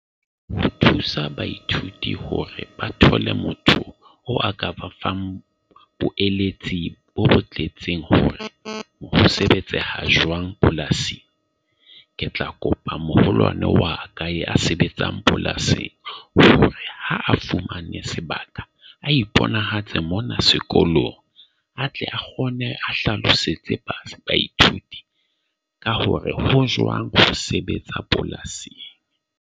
Ho thusa baithuti hore ba thole motho o a ka ba fang bo bo tletseng hore ho sebetsaha jwang polasi. Ke tla kopa moholwane wa ka ya sebetsang polasi hore ha a fumane sebaka, a iponahatse mona sekolong, a tle a kgone a hlalosetse baithuti ka hore ho joang ho sebetsa polasing.